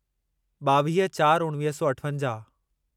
ॿावीह चार उणवीह सौ अठवंजाहु